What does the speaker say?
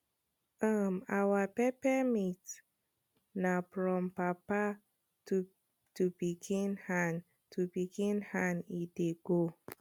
um our peppermint na from papa to pikin hand to pikin hand e dey go